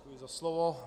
Děkuji za slovo.